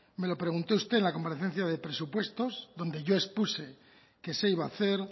me lo preguntó usted en la comparecencia de presupuestos donde yo expuse que se iba a hacer